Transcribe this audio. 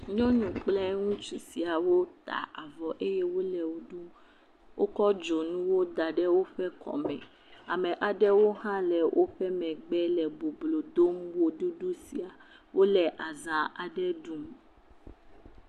Nyɔnu kple ŋutsu sia wota avɔ eye wole wo ɖum. Wokɔ dzonuwo da ɖe woƒe kɔme. Ame aɖewo hã le woƒe megbe le boblo dom woɖuɖu sia. Wole azã aɖe ɖum.